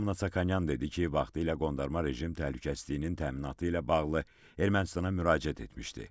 Lyobomnonyan dedi ki, vaxtilə qondarma rejim təhlükəsizliyinin təminatı ilə bağlı Ermənistana müraciət etmişdi.